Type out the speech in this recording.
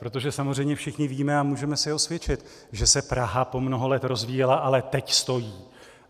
Protože samozřejmě všichni víme a můžeme si osvědčit, že se Praha po mnoho let rozvíjela, ale teď stojí.